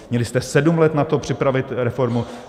Měli jste sedm let na to připravit reformu.